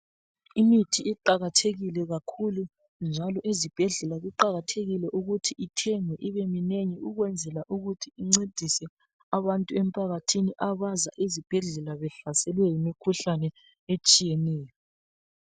Imithi iqakathekile kakhulu njalo ezibhedlela kuqakathekile ukuthi ithengwe ibeminengi ukwenzela ukuthi incedise abantu emphakathini abaza ezibhedlela behlaselwe yimikhuhlane etshiyeneyo.